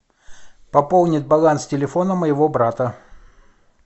пополнить баланс телефона моего брата